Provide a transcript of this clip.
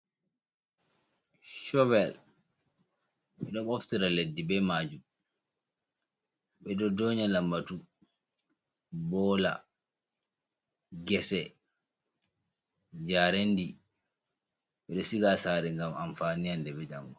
Covel ɓe ɗo ɓoftira leddi be maajum ,ɓe ɗo doonya lammbatu ,boola ,gese, njareendi .Ɓe ɗo siga haa saare ,ngam amfani hannde be janngo.